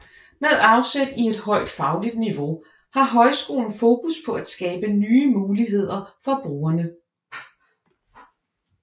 Med afsæt i et højt fagligt niveau har højskolen fokus på at skabe nye muligheder for brugerne